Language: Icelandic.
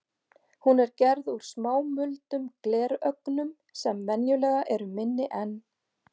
Hún er gerð úr smámuldum glerögnum sem venjulega eru minni en